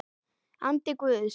Andi Guðs.